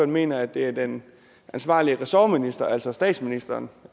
mener at det er den ansvarlige ressortminister altså statsministeren